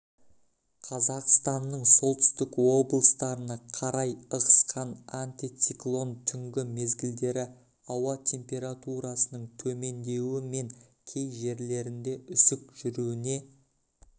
қазақстанның солтүстік облыстарына қарай ығысқан антициклон түнгі мезгілдері ауа температурасының төмендеуі мен кей жерлерінде үсік жүруіне